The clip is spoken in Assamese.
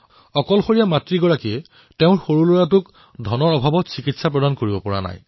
অকলশৰীয়া মাকে টকাৰ অভাৱত তেওঁৰ সন্তানৰ চিকিৎসা কৰোৱাব পৰা নাছিল